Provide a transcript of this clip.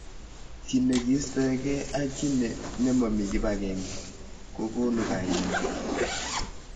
Ki nekiistoekei ak ki nemomi kibagenge kokonu kaimet.